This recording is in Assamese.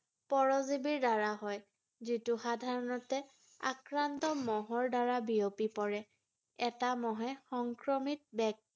পৰজীৱীৰ দ্বাৰা হয় ৷ যিটো সাধাৰণতে আক্ৰান্ত মহৰ দ্বাৰা বিয়পি পৰে ৷ এটা মহে সংক্ৰমিত ব্যক্তিৰ